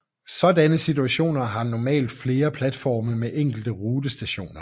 Sådanne stationer har normalt flere platforme end enkelte rutestationer